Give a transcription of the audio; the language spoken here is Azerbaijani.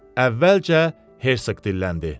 Əvvəlcə Hersoq dilləndi.